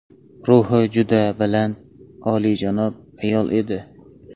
Ruhi juda baland, oliyjanob ayol edi.